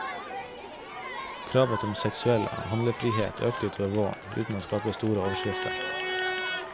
Kravet om seksuell handlefrihet økte utover våren, uten å skape store overskrifter.